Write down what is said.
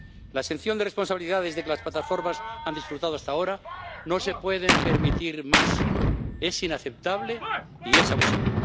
La exención de responsabilidades de que las plataformas han disfrutado hasta ahora no se puede permitir más, es inaceptable y es abusiva.